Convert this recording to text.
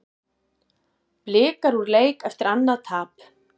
Blikar úr leik eftir annað tap